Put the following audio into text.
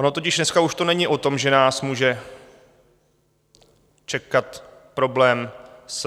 Ono totiž dneska už to není o tom, že nás může čekat problém s